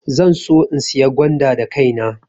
Zan so in saya gwanda da kaina.